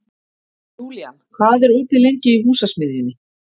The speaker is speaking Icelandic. Júlían, hvað er opið lengi í Húsasmiðjunni?